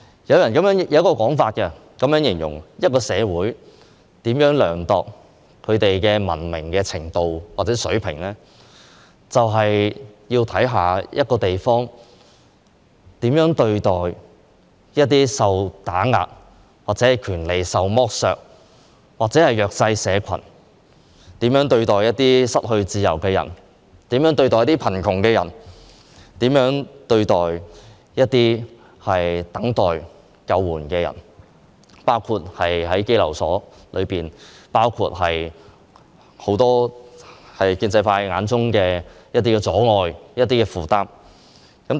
有一種說法是，要量度一個社會的文明程度或水平，是要看這個社會如何對待一些受打壓、權利受剝削的人和弱勢社群，以及它如何對待一些失去自由的人、貧窮人士和等待救援的人，而在香港，便包括在羈留所裏的人，以及建制派眼中的一些阻礙和負擔。